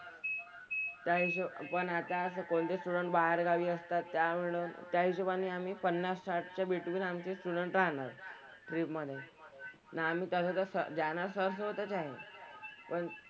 त्या हिशॊ पण आता असे कोणते student बाहेरगावी असतात त्यामुळं त्या हिशोबाने आम्ही पन्नास, साठच्या between आमचे student राहणार. Trip मधे. आणि आम्ही तसं तर जाणार sir सोबतच आहे. पण,